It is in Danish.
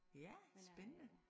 Ja spændende